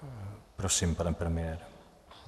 Prosím, pane premiére.